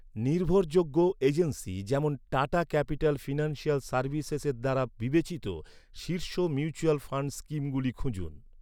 নির্ভরযোগ্য এজেন্সি যেমন Tata capital financial সার্ভিসেসের দ্বারা বিবেচিত শীর্ষ মিউচুয়াল ফান্ড স্কিমগুলি খুঁজুন।